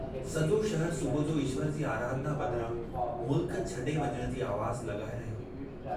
सॼो शहरु सुबुह जो ईश्वर जी आराधना बदिरां मुल्क छॾे वञण जी आवाज़ लॻाए रहियो हो।